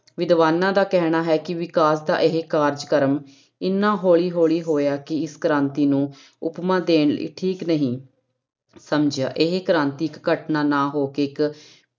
ਵਿਦਵਾਨਾਂ ਦਾ ਕਹਿਣਾ ਹੈ ਕਿ ਵਿਕਾਸ ਦਾ ਇਹ ਕਾਰਜਕ੍ਰਮ ਇੰਨਾ ਹੌਲੀ ਹੌਲੀ ਹੋਇਆ ਕਿ ਇਸ ਕ੍ਰਾਂਤੀ ਨੂੰ ਉਪਮਾ ਦੇਣੀ ਠੀਕ ਨਹੀਂ ਸਮਝਿਆ, ਇਹ ਕ੍ਰਾਂਤਿਕ ਘਟਨਾ ਨਾ ਹੋ ਕੇ ਇੱਕ